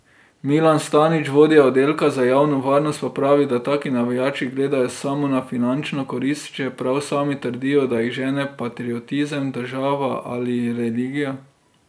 Milan Stanić, vodja oddelka za javno varnost, pa pravi, da taki navijači gledajo samo na finančno korist, čeprav sami trdijo, da jih žene patriotizem, država ali religija.